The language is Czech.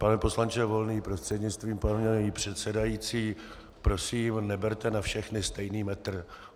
Pane poslanče Volný, prostřednictvím paní předsedající, prosím, neberte na všechny stejný metr.